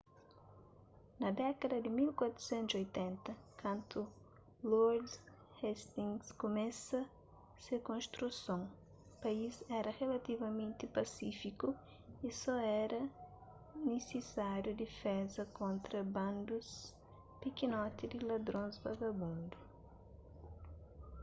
na dékada di 1480 kantu lord hastings kumesa se konstruson país éra rilativamenti pasífiku y só éra nisisáriu difeza kontra bandus pikinoti di ladrons vagabundu